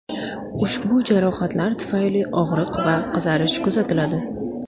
Ushbu jarohatlar tufayli og‘riq va qizarish kuzatiladi.